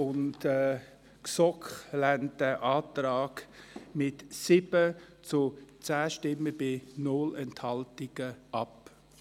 Die GSoK lehnt diesen mit 7 zu 10 Stimmen bei keiner Enthaltung ab.